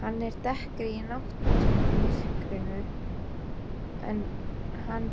Hann er dekkri í náttmyrkrinu en hann